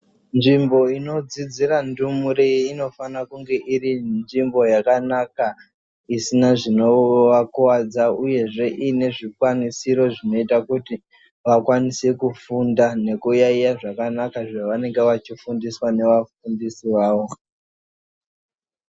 Nzvimbo ino dzidzira ndumure ino fanirana kunge iri nzvimbo yaka naka isina zvino vakuvadza uyezve ine zvi kwanisiro zvinoita kuti vakwanise kufunda neku yayiya zvakanaka zva vanenge vachi fundiswa neva fundisi vavo.